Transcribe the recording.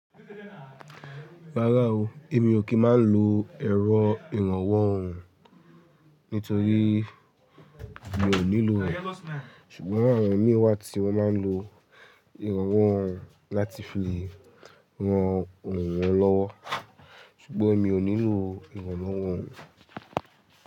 Rárá o, èmi ò kí máa ń lo ẹ̀rọ ìrànwọ́ òhùn nítorí mi ò nílò òhùn, ṣùgbọ́n àwọn ímí wá tí wọ́n máa ń lo ìrànwọ́ òhùn láti fi ran òhùn wọn lọ́wọ́ ṣùgbọ́n èmi ò nílò ìrànwọ́ òhùn.